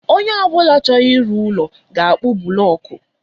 Onye ọ bụla chọrọ ịrụ ụlọ ga akpu bụlọku